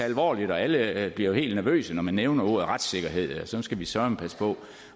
alvorligt og alle alle bliver helt nervøse når man nævner ordet retssikkerhed for så skal vi søreme passe på